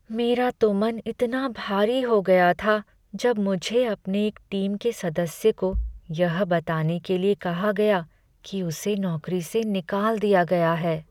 मेरा तो मन इतना भारी हो गया था जब मुझे अपने एक टीम के सदस्य को यह बताने के लिए कहा गया कि उसे नौकरी से निकाल दिया गया है।